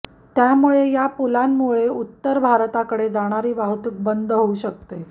त्यामुळे या पुलांमुळे उत्तर भारताकडे जाणारी वाहतूक बंद होऊ शकते